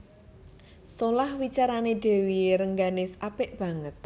Solah wicarané Dèwi Rengganis apik banget